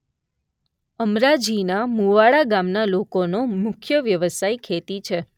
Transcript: અમરાજીના મુવાડા ગામના લોકોનો મુખ્ય વ્યવસાય ખેતી છે.